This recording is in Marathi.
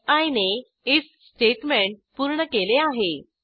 फी ने आयएफ स्टेटमेंट पूर्ण केले आहे